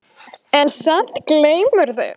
En samt gleymirðu.